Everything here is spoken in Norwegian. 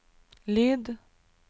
lyd